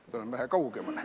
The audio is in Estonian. Ma tulen vähe kaugemale.